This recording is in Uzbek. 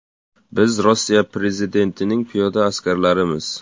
Biz Rossiya prezidentining piyoda askarlarimiz.